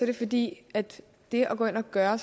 det fordi det at gå ind og gøre